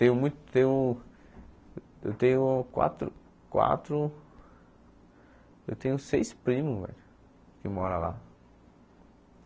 Tenho mu tenho eu tenho quatro quatro... Eu tenho seis primos, velho, que moram lá.